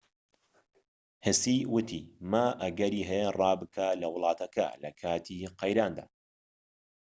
هسی وتی ما ئەگەری هەیە ڕا بکات لە وڵاتەکە لەکاتی قەیراندا